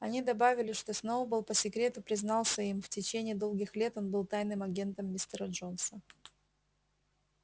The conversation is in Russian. они добавили что сноуболл по секрету признался им в течение долгих лет он был тайным агентом мистера джонса